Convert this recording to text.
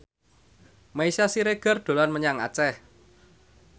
Meisya Siregar dolan menyang Aceh